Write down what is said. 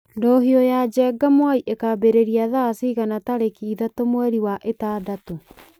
ndũhio ya njenga mwai ĩkambĩrĩria thaa cigana tarĩki ithatũ mweri wa ĩtandatũ